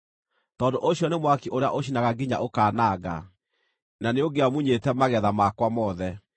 Tondũ ũcio nĩ mwaki ũrĩa ũcinaga nginya ũkaananga; na nĩũngĩamunyĩte magetha makwa mothe.